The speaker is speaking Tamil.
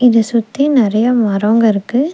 இத சுத்தி நெறய மரம்ங்க இருக்கு.